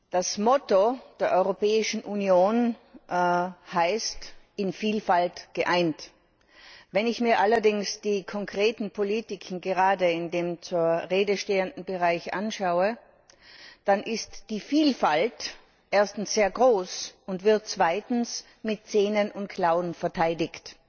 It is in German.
Das Motto der Europäischen Union heißt In Vielfalt geeint. Wenn ich mir allerdings die konkreten Politiken gerade in dem zur Rede stehenden Bereich anschaue, dann ist die Vielfalt erstens sehr groß und wird zweitens mit Zähnen und Klauen verteidigt.